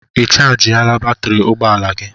Ị chajịla batrị ụgbọ ala gị?